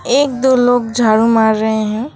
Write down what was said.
एक दो लोग झाड़ू मार रहे हैं।